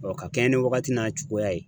ka kɛɲɛ ni wagati n'a cogoya ye